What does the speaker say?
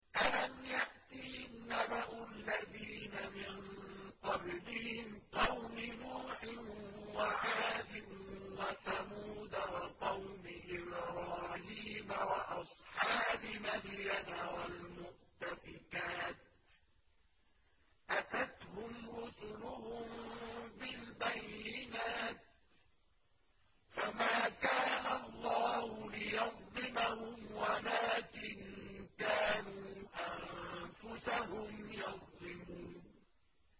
أَلَمْ يَأْتِهِمْ نَبَأُ الَّذِينَ مِن قَبْلِهِمْ قَوْمِ نُوحٍ وَعَادٍ وَثَمُودَ وَقَوْمِ إِبْرَاهِيمَ وَأَصْحَابِ مَدْيَنَ وَالْمُؤْتَفِكَاتِ ۚ أَتَتْهُمْ رُسُلُهُم بِالْبَيِّنَاتِ ۖ فَمَا كَانَ اللَّهُ لِيَظْلِمَهُمْ وَلَٰكِن كَانُوا أَنفُسَهُمْ يَظْلِمُونَ